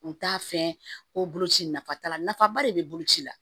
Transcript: U t'a fɛn ko bolo ci nafa t'a la nafaba de be bolo ci la